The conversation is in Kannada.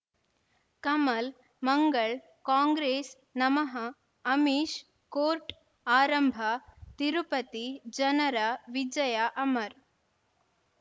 ಕಮಲ್ ಮಂಗಳ್ ಕಾಂಗ್ರೆಸ್ ನಮಃ ಅಮಿಷ್ ಕೋರ್ಟ್ ಆರಂಭ ತಿರುಪತಿ ಜನರ ವಿಜಯ ಅಮರ್